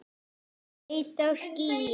Ég leit á skýið.